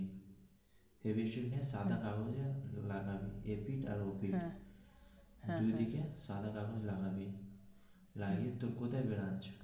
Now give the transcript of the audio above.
টা সাদা কাগজে লাগবি এপিঠ আর ও পিঠ দুই দিকে সাদা কাগজ লাগাবি লাগিয়ে তুই কোথায় .